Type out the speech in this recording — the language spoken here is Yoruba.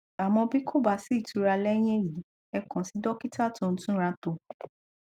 àmọ bí kò bá sí ìura lẹyìn èyí ẹ kàn sí dọkítà tó ń túnratò